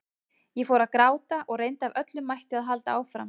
Ég fór að gráta og reyndi af öllum mætti að halda áfram.